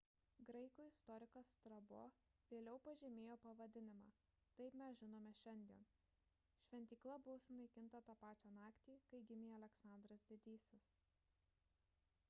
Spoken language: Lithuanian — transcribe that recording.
graikų istorikas strabo vėliau pažymėjo pavadinimą taip mes žinome šiandien šventykla buvo sunaikinta tą pačią naktį kai gimė aleksandras didysis